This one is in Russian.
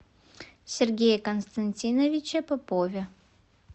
сергее константиновиче попове